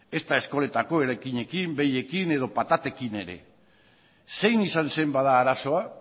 ezta eskoletako eraikinekin behiekin edo patatekin ere zein izan zen bada arazoa